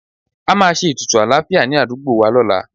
A máa ṣe ètùtù àlàáfíà ní àdúgbò wa lọ́la